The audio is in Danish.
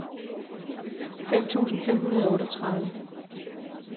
fem tusind fem hundrede og otteogtredive